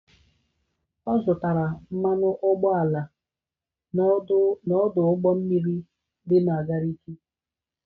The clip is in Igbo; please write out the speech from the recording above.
Ọ zụtara mmanụ ụgbọala n'ọdụ ụgbọ mmiri dị na Gariki?